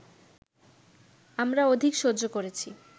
আমরা অধিক সহ্য করেছি